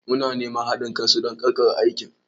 Muna neman haɗin kan su don ƙarƙare aikin.